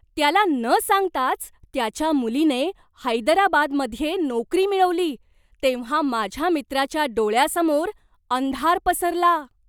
त्याला न सांगताच त्याच्या मुलीने हैदराबादमध्ये नोकरी मिळवली तेव्हा माझ्या मित्राच्या डोळ्यासमोर अंधार पसरला.